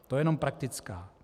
To je jenom praktická.